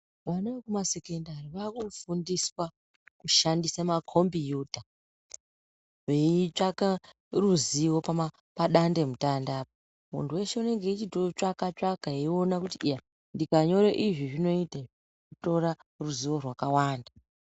Vana vekumasekondari vakufundiswa kushandisa makombiyuta vetsvaka ruzivo padande mutande muntu weshe anenge achitsvaka tsvaka kuti iya ndikanyora izvi zvoita kutora ruzivo rwakawanda.